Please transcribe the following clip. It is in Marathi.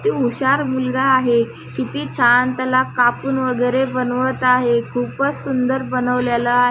किती हुशार मुलगा आहे किती छान त्याला कापून वगेरे बनवत आहे खूपच सूंदर बनवलेला आहे.